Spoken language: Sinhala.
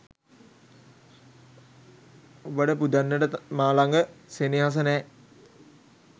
ඔබට පුදන්නට මා ලඟ සෙනෙහස නෑ.